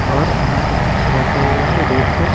और यहाँ पर कुछ रखा हुआ है रेक पर--